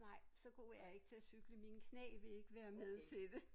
Nej så god er jeg ikke til at cykle mine knæ vil ikke være med til det